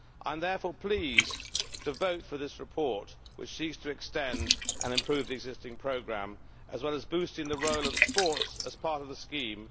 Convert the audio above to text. I am therefore pleased to vote for this report, which seeks to extend and improve the existing programme as well as boosting the role of sports as part of the scheme.